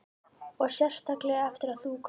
Ég skal standa að baki yður, hvað sem á dynur.